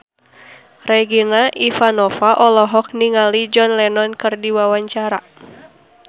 Regina Ivanova olohok ningali John Lennon keur diwawancara